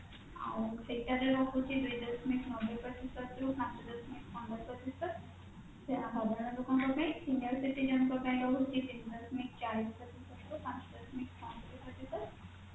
ଆଉ ସେଇଟାରେ ରହୁଛି ଦୁଇ ଦଶମିକ ନବେ ପ୍ରତିଶତ ରୁ ପାଞ୍ଚ ଦଶମିକ ପନ୍ଦର ପ୍ରତିଶତ ସେଇଟା ସାଧାରଣ ଲୋକଙ୍କ ପାଇଁ senior citizen ଙ୍କ ପାଇଁ ରହୁଛି ତିନି ଦଶମିକ ଚାଳିଶ ପ୍ରତିଶତ ରୁ ପାଞ୍ଚ ଦଶମିକ ପ୍ରତିଶତ